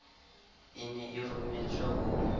e ne e rometswe ho